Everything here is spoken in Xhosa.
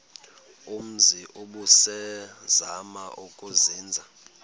umzi ubusazema ukuzinza